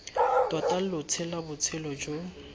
tota lo tshela botshelo jo